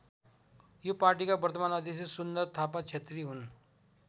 यो पार्टीका वर्तमान अध्यक्ष सुन्दर थापा क्षेत्री हुन्।